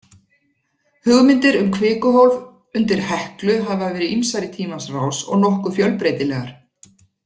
Hugmyndir um kvikuhólf undir Heklu hafa verið ýmsar í tímans rás og nokkuð fjölbreytilegar.